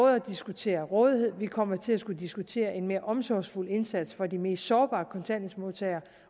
at diskutere rådighed og vi kommer til at skulle diskutere en mere omsorgsfuld indsats over for de mest sårbare kontanthjælpsmodtagere